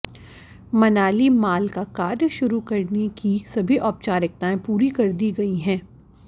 Manali mall का कार्य शुरू करने की सभी औपचारिकताएं पूरी कर दी गई हैं